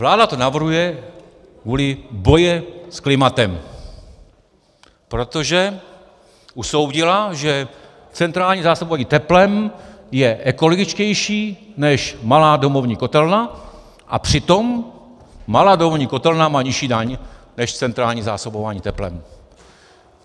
Vláda to navrhuje kvůli boji s klimatem, protože usoudila, že centrální zásobování teplem je ekologičtější než malá domovní kotelna, a přitom malá domovní kotelna má nižší daň než centrální zásobování teplem.